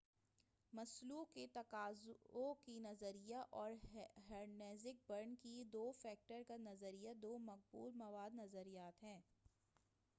مسلو کے تقاضوں کا نظریہ اور ہرٹزبرگ کی دو فیکٹر کا نظریہ دو مقبول مواد نظریات ہیں